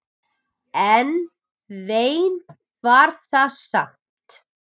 En vein var það samt.